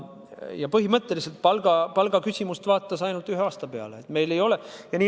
Ja põhimõtteliselt palgaküsimust vaadati ainult ühe aasta kohta.